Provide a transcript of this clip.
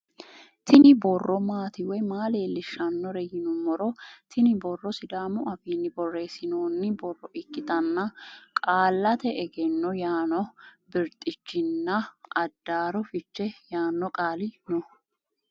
Kuni boro maati woyi maa lelishanore yiinumoro tini boro sidamu afiin boresinoni boro ikitana qaallate egenno yaano birxichinnaadaro fiche yaano qali no